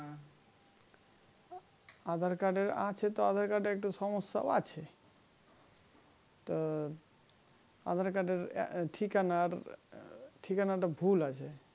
aadhar card এর আছে তো aadhar card এর একটু সমস্যা আছে তো aadhar card এর ঠিকানার ঠিকানাটা ভুল আছে